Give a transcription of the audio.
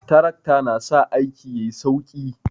Trakta na sa aiki yayi sauki